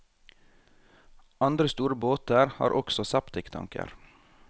Andre store båter har også septiktanker.